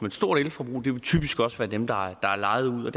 et stort elforbrug det vil typisk også være dem der er lejet ud